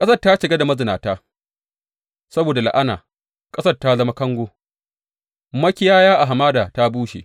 Ƙasar ta cika da mazinata; saboda la’ana ƙasar ta zama kango makiyaya a hamada ta bushe.